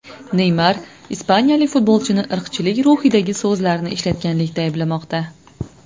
Neymar ispaniyalik futbolchini irqchilik ruhidagi so‘zlarni ishlatganlikda ayblamoqda .